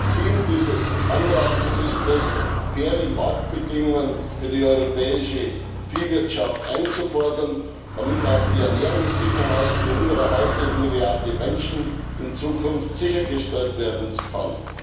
Ziel dieses Antrags ist es, faire Marktbedingungen für die europäische Viehwirtschaft einzufordern, damit auch die Ernährungssicherheit für über eine halbe Milliarde Menschen in Zukunft sichergestellt werden kann.